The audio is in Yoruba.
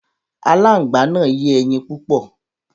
Aláǹgbá náà yé ẹyin púpọ̀.